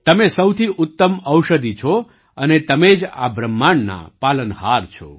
તમે સૌથી ઉત્તમ ઔષધિ છો અને તમે જ આ બ્રહ્માંડના પાલનહાર છો